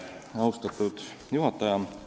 Austatud juhataja!